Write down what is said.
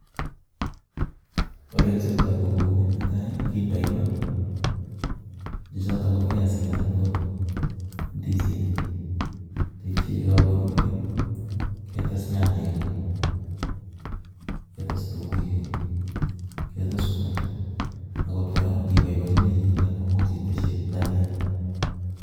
Olekichoptoi ko kouni, netai kindoi maa chechotok ko biasik anan ko indisinik yeityo yekokoruryo ketes nyanyik, ketes itung'uik, ketes mwaita akot kora ng'iboiboenchini chito koimuch iteshi dania.